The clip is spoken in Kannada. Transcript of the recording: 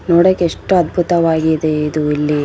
ನೋಡೋಕೆ ಎಷ್ಟು ಅದ್ಬುತವಾಗಿದೆ ಇದು ಇಲ್ಲಿ .